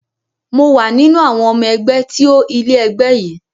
Mò wà nínú àwọn ọmọ ẹgbẹ́ tí ó ilẹ̀ ẹgbẹ́ yìí